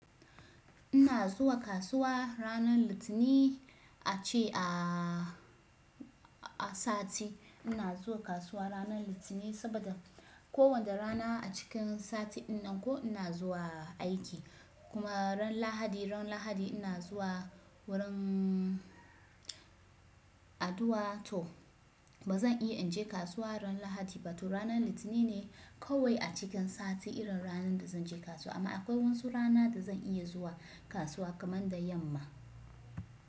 Ina zuwa kasuwa ranar Litinin a ce a, a sati. Ina zuwa kasuwa ranar Litinin saboda kowane rana a cikin sati din nan ko ina zuwa aiki. Kuma ran Lahadi, ran Lahadi ina zuwa wurin addu'a toh, ba zan iya in je kasuwa ran Lahadi ba. To ranar Litinin ne kawai a cikin sati irin ranar da zan je kasuwa. Amma akwai wasu rana da zan iya zuwa kasuwa kamar da yamma.